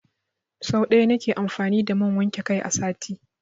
Sau ɗaya na ke amfani da man wanke kai a sati.